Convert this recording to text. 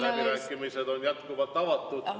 Läbirääkimised on jätkuvalt avatud.